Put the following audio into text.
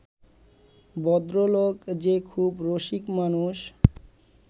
ভদ্রলোক যে খুব রসিক মানুষ